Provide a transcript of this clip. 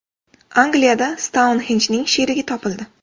Angliyada Stounxenjning sherigi topildi.